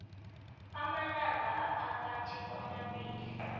amalanga aphakathi kwamabili